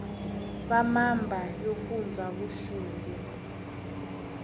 va mamba yo fundza vuxungu